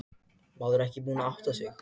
Maðurinn er ekki búinn að átta sig.